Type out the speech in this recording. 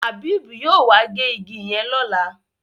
Habib yóò wá gé ìgi yen lọla